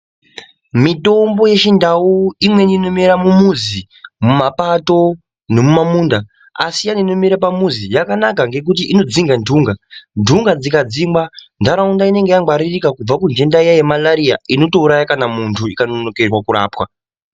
Mitombo yechindau imweni inomera mumuzi mumapato nemamunda asi iya inomera pamuzi yakanaka ngekuti inodzinga ndunga ndunga dzikadzingwa ntaraunda inenge yangwaririka kubva kudenda riya remalaria rinotouraya kana muntu rikanonokerwa kurapwa.